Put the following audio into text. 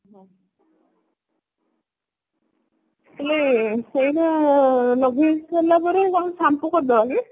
ହେଲେ ସେଇ ଯୋଉ ଲଗେଇ ସାରିଲା ପରେ ତାକୁ shampoo କରିଦେବା ନାଇଁ